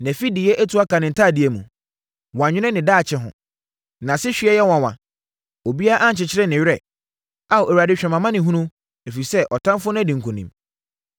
Nʼafideyɛ atu aka ne ntadeɛ mu; wannwene ne daakye ho. Nʼasehweɛ yɛ nwanwa; obiara ankyekyere ne werɛ. “Ao Awurade hwɛ mʼamanehunu, ɛfiri sɛ ɔtamfoɔ adi nkonim.”